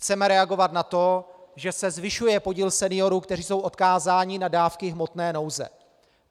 Chceme reagovat na to, že se zvyšuje podíl seniorů, kteří jsou odkázáni na dávky hmotné nouze.